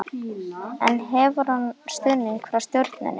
En hefur hann stuðning frá stjórninni?